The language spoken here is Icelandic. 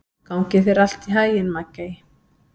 Gangi þér allt í haginn, Maggey.